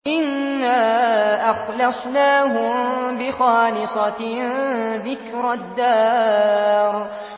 إِنَّا أَخْلَصْنَاهُم بِخَالِصَةٍ ذِكْرَى الدَّارِ